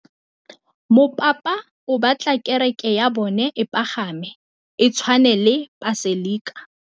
Mopapa o batla kereke ya bone e pagame, e tshwane le paselika.